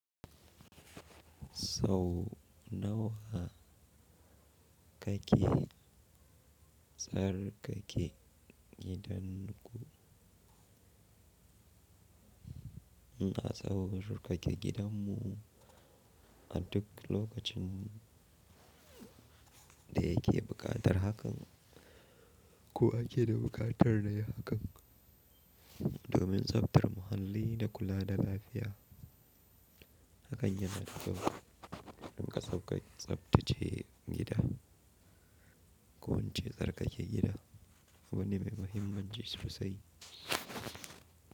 Sau nawa kake tsarkake gidan ku? Ina tsarkake gidan mu a duk lokacin da yake buƙatar hakan, ko ake da buƙatar nayi hakan domin tsaftar muhalli da kula da lafiya. Hakan yana da taimakawa, don ka tsabtacce gida ko ince tsarkake gida wani mai mahimmanci sosai.